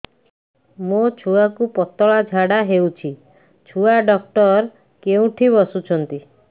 ମୋ ଛୁଆକୁ ପତଳା ଝାଡ଼ା ହେଉଛି ଛୁଆ ଡକ୍ଟର କେଉଁଠି ବସୁଛନ୍ତି